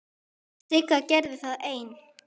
Sigga gerði það ein.